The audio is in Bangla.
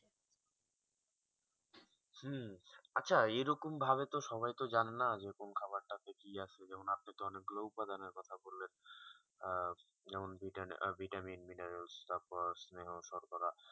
আচ্ছা এরকম ভাবে তো সবাই তো জানে না যে কোন খাবার তা তে কি আছে যেমন আজকে অনেক গুলো উপাদানের কথা বললেন যেমন ভিটামিন মিনারেলস শর্করা শর্করা